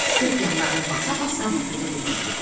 Pux yanlarını basa-basa bufetə doğru getdi.